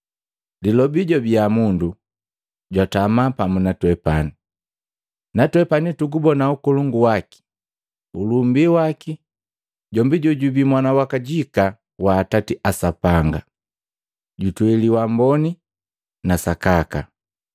Lilobi jwabiya mundu, jwatama pamu natwepani. Natwepani tugubona ukolongu waki, ulumbii waki jombi jojubii Mwana wakajika wa Atati a Sapanga, jutweli wamboni na sakaka.